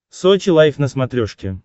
сочи лайф на смотрешке